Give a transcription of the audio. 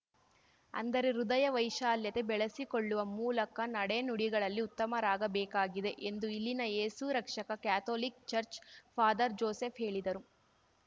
ಅಂದರೆ ಹೃದಯ ವೈಶಾಲ್ಯತೆ ಬೆಳೆಸಿಕೊಳ್ಳುವ ಮೂಲಕ ನಡೆ ನುಡಿಗಳಲ್ಲಿ ಉತ್ತಮರಾಗಬೇಕಾಗಿದೆ ಎಂದು ಇಲ್ಲಿನ Yesu Rakshaka Catholic church father Joseph ಹೇಳಿದರು